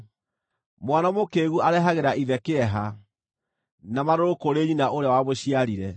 Mwana mũkĩĩgu arehagĩra ithe kĩeha, na marũrũ kũrĩ nyina ũrĩa wamũciarire.